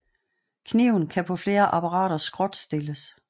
Kniven kan på flere apparater skråtstilles